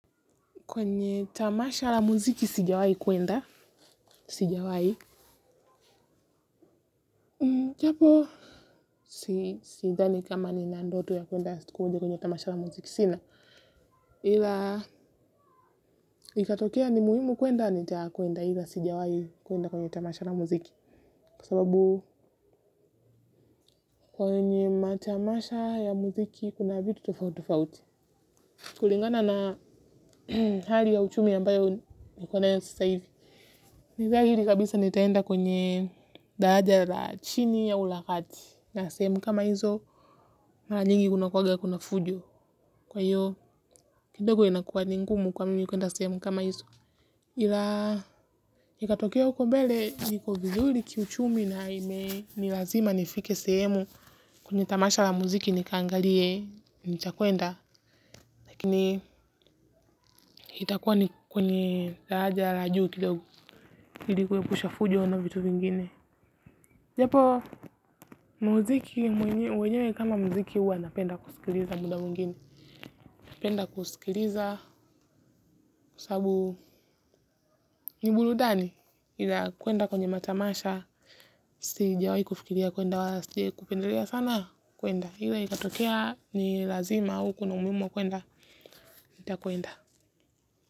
Kwenye tamasha la muziki sijawahi kwenda. Sijawahi. Kwenda tamasha la muziki sina ila ikatokea ni muhimu kwenda nitakwenda aidha sijawahi kwenda kwenye tamasha la muziki kwa sababu ya muziki kuna vitu tofauti tofauti. Kulingana na hali ya uchumi ambayo niko nayo sasa hivi. Ni dhahiri kabisa nitaenda kwenye daraja la chini au la kati sehemu kama hizo mara nyingi kunakuwanga kuna fujo kwa hiyo kidogo inakuwa ni ngumu kwa mimi kwenda sehemu kama hizo. Ila ikatokea huko mbele niko vizuri kiuchumi na imenilazima nifike sehemu kwenye tamasha la muziki nikaangalie nitakwenda lakini itakuwa ni kwenye daraja la juu kidogo ili kuepusha fujo na vitu vingine. Japo muziki wenyewe kama muziki huwa napenda kusikiliza muda mwingine napenda kusikiliza kwa sababu ni burudani ila kwenda kwenye matamasha sijawahi kufikiria kwenda wala sijawahi kupendelea sana kwenda ila ikatokea ni lazima au kuna umuhimu wa kwenda nitakwenda.